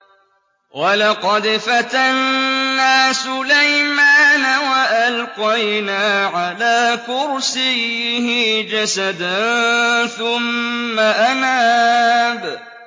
وَلَقَدْ فَتَنَّا سُلَيْمَانَ وَأَلْقَيْنَا عَلَىٰ كُرْسِيِّهِ جَسَدًا ثُمَّ أَنَابَ